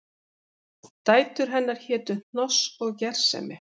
Dætur hennar hétu Hnoss og Gersemi